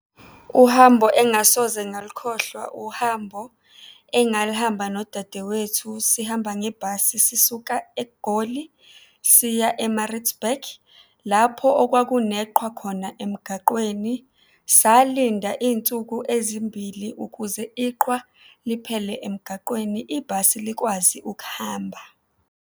Uhambo engasoze ngalukhohlwa, uhambo engaluhamba nodadewethu sihamba ngebhasi sisuka eGoli siya e-Maritzburg lapho okwakuneqhwa khona emgaqweni. Salinda iy'nsuku ezimbili ukuze iqhwa liphele emgaqweni, ibhasi likwazi ukuhamba.